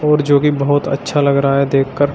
और जो की बहोत अच्छा लग रहा है देख कर।